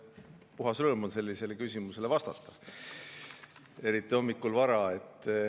Puhas rõõm on sellisele küsimusele vastata, eriti hommikul vara.